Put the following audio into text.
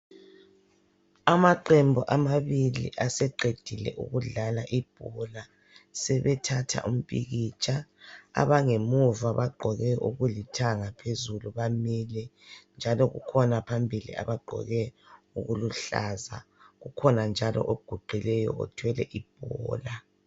Amaqembu amabili aseqedile ukudlala ibhola sebethathatha umpikitsha abangemuva bagqoke okulithanga phezulu bamile njalo kukhona phambili abagqoke okuluhlaza kukhona njalo oguqileyo othwele ibhola.